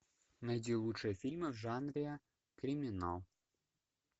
найди лучшие фильмы в жанре криминал